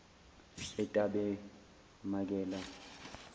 etabemakela